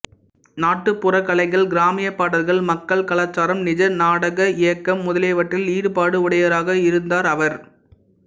நாட்டுப்புறக் கலைகள் கிராமியப் பாடல்கள் மக்கள் கலாச்சாரம் நிஜநாடக இயக்கம் முதலியவற்றில் ஈடுபாடு உடையவராக இருந்தார் அவர்